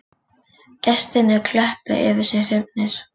Gestirnir klöppuðu yfir sig hrifnir